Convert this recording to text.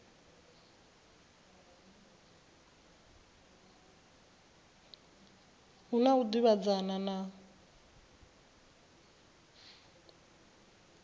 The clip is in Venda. hu na u davhidzana na